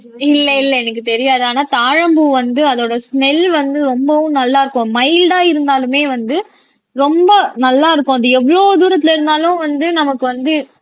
இல்லை இல்லை எனக்கு தெரியாது ஆனா தாழம்பூ வந்து அதோட ஸ்மெல் வந்து ரொம்பவும் நல்லா இருக்கும் மைல்டா இருந்தாலுமே வந்து ரொம்ப நல்லா இருக்கும் அது எவ்வளவு தூரத்திலே இருந்தாலும் வந்து நமக்கு வந்து